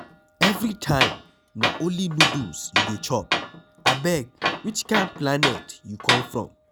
Everytime na only noodles you dey chop, abeg which kin planet you come from?